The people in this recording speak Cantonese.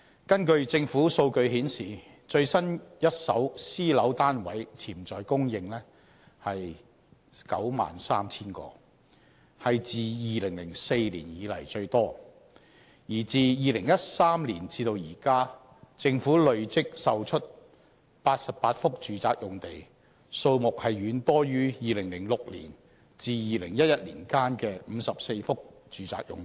根據政府數據顯示，最新一手私樓單位潛在供應為 93,000 個，是自2004年以來最多；而自2013年至今，政府累積售出88幅住宅用地，數目遠多於2006年至2011年間的54幅住宅用地。